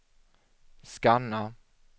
scanna